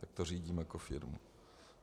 Tak to řídím jako firmu.